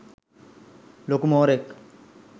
ලොකු මෝරෙක්